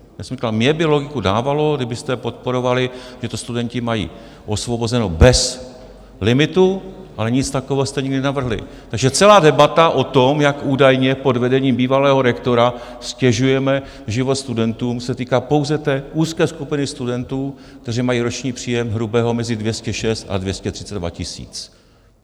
Já jsem říkal, mně by logiku dávalo, kdybyste podporovali, že to studenti mají osvobozeno bez limitu, ale nic takového jste nikdy navrhli, takže celá debata o tom, jak údajně pod vedením bývalého rektora ztěžujeme život studentům, se týká pouze té úzké skupiny studentů, kteří mají roční příjem hrubého mezi 206 a 232 tisíc.